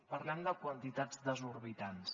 parlem de quantitats desorbitades